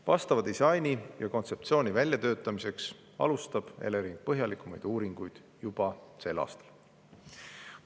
Vastava disaini ja kontseptsiooni väljatöötamiseks alustab Elering põhjalikumaid uuringuid juba sel aastal.